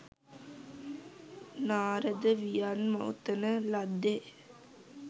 නාරද වියන් ඔතන ලද්දේ